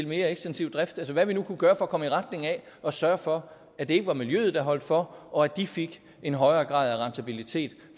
mere ekstensiv drift eller hvad vi nu kunne gøre for at komme i retning af at sørge for at det ikke var miljøet der holdt for og at de fik en højere grad af rentabilitet